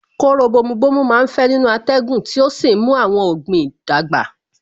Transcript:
Kóró bomu bomu má ń fẹ́ nínú atẹ́gùn tí ó sì ń mú àwọn ọ̀gbìn dàgbà